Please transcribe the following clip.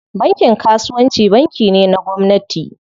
Bankin kasuwanci banki ne na gwamnati.